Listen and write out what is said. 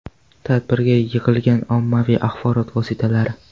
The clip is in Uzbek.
Tadbirga yig‘ilgan ommaviy axborot vositalari.